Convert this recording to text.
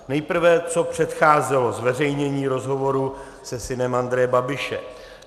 Nejprve co předcházelo zveřejnění rozhovoru se synem Andreje Babiše.